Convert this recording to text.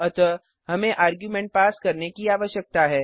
अतः हमे argument pass करने की आवश्यकता है